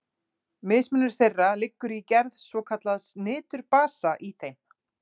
Mismunur þeirra liggur í gerð svokallaðs niturbasa í þeim.